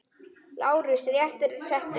LÁRUS: Réttur er settur!